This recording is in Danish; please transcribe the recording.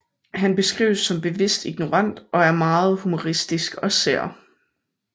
Han beskrives som en bevidst ignorant og er meget humoristisk og sær